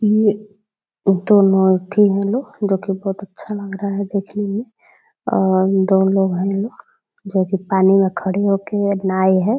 ये दोनों अथी है लो जो की बहुत अच्छा लग रहा है देखने में और दो लोग हैं जो पानी में खड़े होके नाई है दो ।